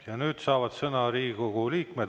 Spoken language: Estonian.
Ja nüüd saavad sõna Riigikogu liikmed.